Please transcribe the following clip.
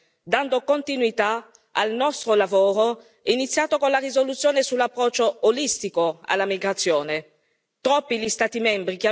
globale al tema della migrazione, dando continuità al nostro lavoro iniziato con la risoluzione sull'approccio olistico alla migrazione.